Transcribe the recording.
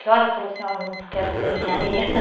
Que hora falou assim, eu não quero fazer engenharia?